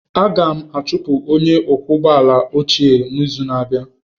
Anyị ga-achụpụ onye ọkwọ ụgbọ ala ochie n'izu na-abịa